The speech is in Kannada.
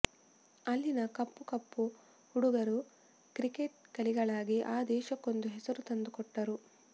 ಅಲ್ಲಿನ ಕಪ್ಪು ಕಪ್ಪು ಹುಡುಗರು ಕ್ರಿಕೆಟ್ ಕಲಿಗಳಾಗಿ ಆ ದೇಶಕ್ಕೊಂದು ಹೆಸರು ತಂದುಕೊಟ್ಟರು